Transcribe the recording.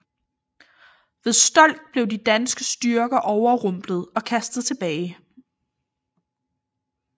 Ved Stolk blev de danske styrker overrumplet og kastet tilbage